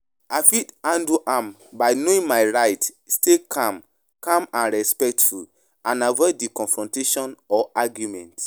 I fit handle am by knowing my rights, stay calm calm and respectful and avoid di confrontation or argument.